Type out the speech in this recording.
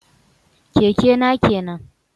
Keke na kenan